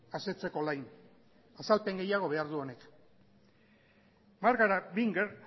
asetzeko nahikoa azalpen gehiago behar du honek bárbara